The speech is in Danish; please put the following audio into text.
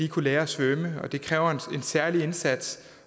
kunne lære at svømme og at det kræver en særlig indsats